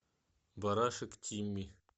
барашек тимми